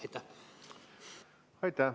Aitäh!